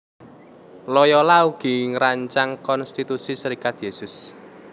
Loyola ugi ngrancang Konstitusi Serikat Yésus